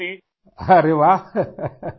ارے واہ !